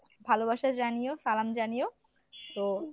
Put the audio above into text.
ভালোবাসা জানিও সালাম জানিও। তো